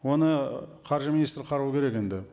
оны қаржы министрі қарау керек енді